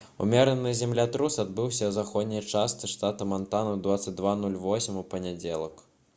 умераны землятрус адбыўся ў заходняй частцы штата мантана ў 22:08 у панядзелак